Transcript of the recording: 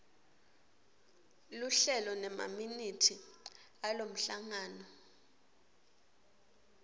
luhlelo nemaminithi alomhlangano